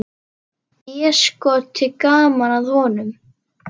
Déskoti gaman að honum.